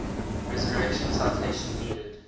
resurrection citation needed